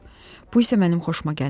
Bu isə mənim xoşuma gəlmədi.